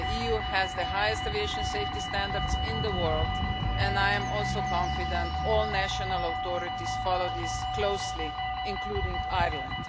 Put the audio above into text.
The EU has the highest aviation safety standards in the world and I'm also confident all national authorities follow this closely, including Ireland.